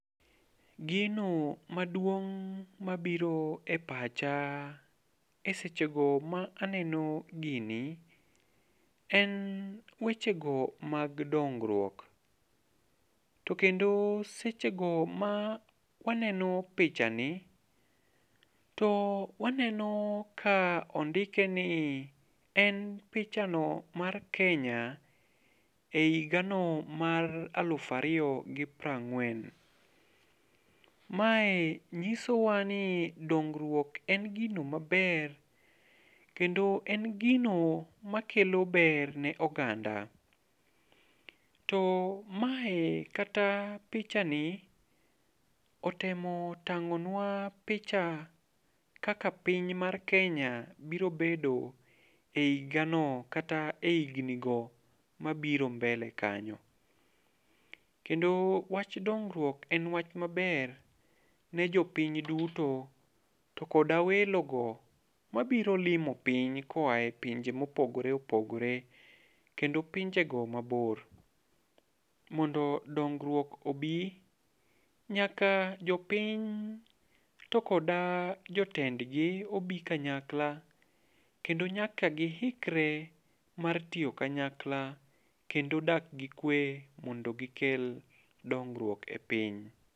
Gino maduong' mabiro e pacha e seche go ma aneno gini, en weche go mag dongruok. To kendo sechego ma waneno pichani to waneno ka ondike ni en pichano mar Kenya e higano mar aluf ariyo gi piero ang'wen. Mae nyisowani dongruok en gino maber, kendo en gino makelo ber ne oganda. To mae kata pichani otemo tang'onwa picha kaka piny mar Kenya biro bedo e higa no e higni go mabiro mbele kanyo. Kendo wach dongruok en wach maber ne jopiny duto, to koda welo go mabiro limo piny koae pinje ma opogore opogore, kendo pinje go mabor. Mondo dongruok obi, nyaka jopiny tokoda jotendgi obi kanyakla. Kendo nyaka giikore mar tiyo kanyakla kendo dak gi kwe mondo gikel dongruok e piny.